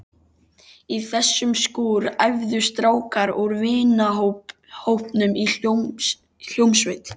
Í þessum skúr æfðu strákar úr vinahópnum í hljómsveit.